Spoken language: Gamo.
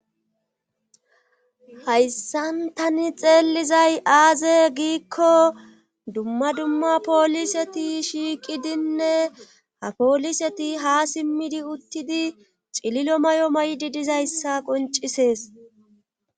Hayssantani xeelizay aaze giikko dumma dumma pooliseti shiiqidinne ha pooliseti ha simmidi uttidi cililo may'o may'di dizayssa qoncisees.